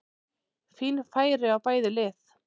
Fín færi á bæði lið!